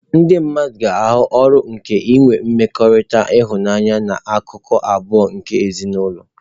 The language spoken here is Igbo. Ndị mmadụ ga-ahụ uru nke inwe mmekọrịta nha anya na akụkụ abụọ nke ezinụlọ.